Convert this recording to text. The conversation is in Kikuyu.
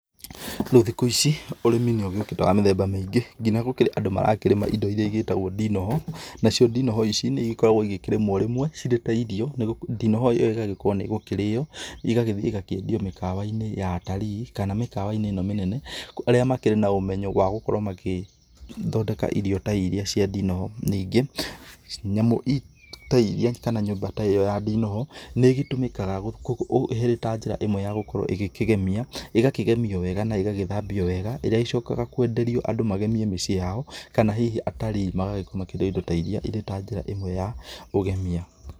Rĩu thikũ ici ũrĩmi nĩ ũgĩũĩte wa mĩthemba mĩingĩ nginya gũkĩrĩ andũ marakĩrĩma indo ciitagwo ndinoho, nacio ndinoho ici nĩ igĩkoragwo ikĩramwo rĩmwe cirĩ ta irio nĩ ndinoho ĩyo ĩgakorwo nĩgũkĩrio ĩgagĩthiĩ ĩgakĩendio mĩkawa-inĩ ya atarii kana mĩkawa-inĩ ĩno mĩnene arĩa makĩrĩ na ũmenyo wa gũkorwo magĩthondeka irio ta ĩrĩa cia ndinoho ,ningĩ nyamũ ta iria kana nyũmba ta ĩrĩa ya ndinoho nĩ ĩgĩtũmikaga ĩrĩ ta njĩra ĩmwe ya gũkorwo ĩgĩkĩgemia ĩgakĩgemĩo wega na ĩgagĩthambio wega ĩrĩa ĩcokaga kwenderio andũ magemĩe mĩciĩ yao kana hihi atarii magakorwo makĩrĩa indo ta ĩrĩa ĩrĩ ta njĩra ĩmwe ya ũgemia .